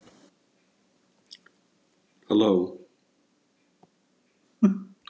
Þessari tilhögun höfðum við harðlega mótmælt, en enga áheyrn fengið hjá stjórnendum.